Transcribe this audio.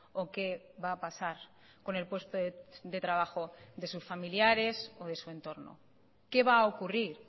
o qué va a pasar con el puesto de trabajo de sus familiares o de su entorno qué va a ocurrir